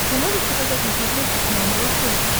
ты можешь показать на смотрешке канал малыш тв